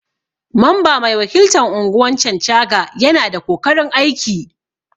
Mamba mai wakiltan unguwan Chanchaga Yana da kokarin aiki.